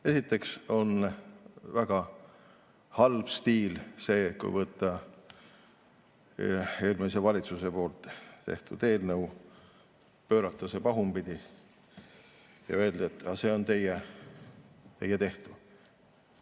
Esiteks on väga halb stiil see, kui võtta eelmise valitsuse tehtud eelnõu, pöörata see pahupidi ja öelda, et see on teie tehtud.